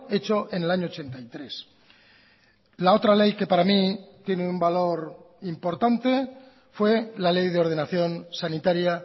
hecho en el año ochenta y tres la otra ley que para mí tiene un valor importante fue la ley de ordenación sanitaria